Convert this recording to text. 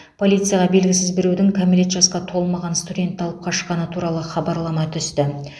полицияға белгісіз біреудің кәмелет жасқа толмаған студентті алып қашқаны туралы хабарлама түсті